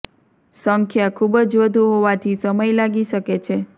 સંખ્યા ખુબ જ વધુ હોવાથી સમય લાગી શકે છે